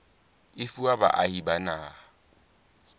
e fuwa baahi ba naha